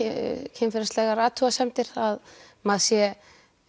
kynferðislegar athugasemdir að maður sé